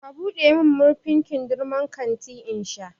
ka buɗe min murfin kindirmon kanti in sha!